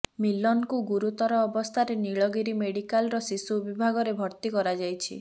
ମିଲନଙ୍କୁ ଗୁରୁତର ଅବସ୍ଥାରେ ନୀଳଗିରି ମେଡିକାଲର ଶିଶୁ ବିଭାଗରେ ଭର୍ତ୍ତି କରାଯାଇଛି